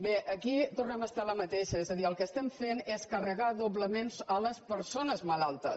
bé aquí tornem a estar en la mateixa és a dir el que estem fent és carregar doblement les persones malaltes